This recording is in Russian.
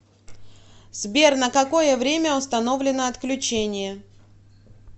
сбер на какое время установлено отключение